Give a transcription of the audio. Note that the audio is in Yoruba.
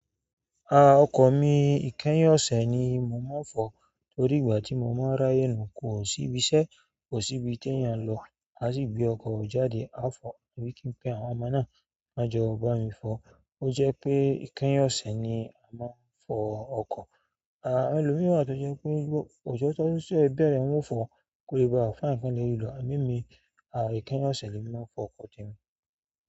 Ah ọkọ̀ mi ìkẹ́yìn ọ̀sẹ̀ ni mo máa ń fọ̀ọ́ torí ìgbà tí mo máa ń rá yè kò sí ibi iṣẹ́, kò sí ibi tí èèyàn n lọ, màá sì gbé ọkọ̀ mi jáde. A fọ̀ọ́, tàbí kí n pe àwọn ọmọ náà kán jọ bá mi fọ̀ọ́. Ó jẹ́ pé ìkẹ́yìn ọ̀sẹ̀ ni a máa ń fọ ọkọ̀. Ẹlòmíràn to je pe ojo to se bere fo ko le.